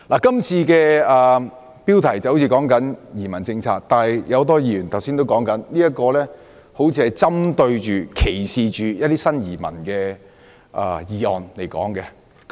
今次討論的標題雖然是移民政策，但很多議員剛才也指出，這議案似乎針對及歧視新移民。